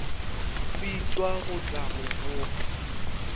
bitšwa go tla go boga